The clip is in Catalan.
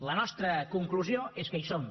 la nostra conclusió és que hi som